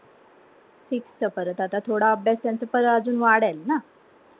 Sixth च परत आता थोडा अभ्यास पण अजून वाढेल ना